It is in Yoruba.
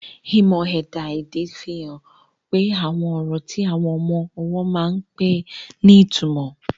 Ìmọ̀ ẹ̀dá-èdè ti fi hàn pé àwọn ọ̀rọ̀ tí àwọn ọmọ ọwọ́ máa ń pè ní ìtumọ̀.